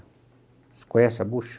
Você conhece a bucha?